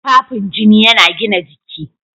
Tufafin jini yana gina jiki.